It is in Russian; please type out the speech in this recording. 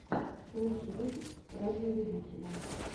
лучший выпуск радиолюбителя